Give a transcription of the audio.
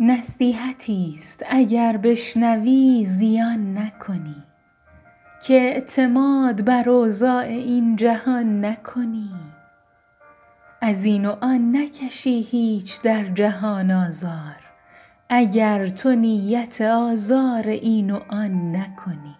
نصیحتی است اگر بشنوی زیان نکنی که اعتماد بر اوضاع این جهان نکنی از این وآن نکشی هیچ در جهان آزار اگرتو نیت آزار این و آن نکنی